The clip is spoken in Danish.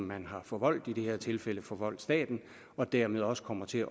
man har forvoldt i det her tilfælde forvoldt staten og dermed også kommer til